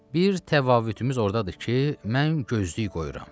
Bir təvaüddümüz ordadır ki, mən gözlük qoyuram.